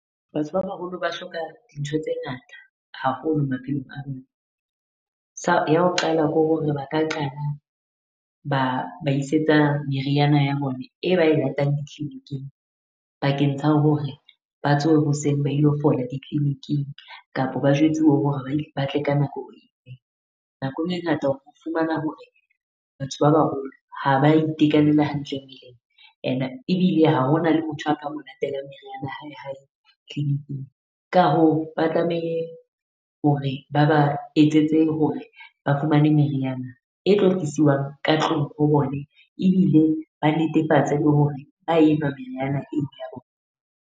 Batho ba baholo ba hloka dintho tse ngata haholo maphelong a bona. Sa ya ho qala ke hore ba ka qala ba ba isetsa meriana ya bone e ba e latang di-clinic-ing. Bakeng tsa hore ba tsohe hoseng ba ilo fola di-clinic-ing, kapo ba jwetsuwe hore ba tle ka nako e efe. Nako e ngata o fumana hore batho ba baholo ha ba itekanela hantle ene ebile ha ho na le motho a ka mo latela meriana ya hae hae clinic-ing. Ka hoo ba tlamehe hore ba ba etsetse hore ba fumane meriana e tlo tlisiwang ka tlung ho bone, ebile ba netefatse le hore ba enwa meriana eo ya bona.